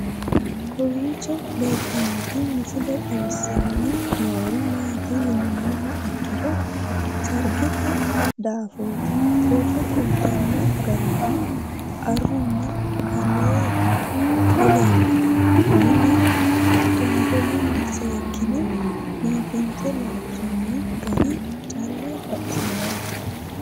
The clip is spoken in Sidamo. Kowiicho leelittannotti misile xawissanni noori maatti yinummoha ikkiro sarigette daaffotti borro kulittanno garinni aruunna aree dileellanno mine tonbolunni seekkinne biiffinsse loonsoonni gari calla baxissanno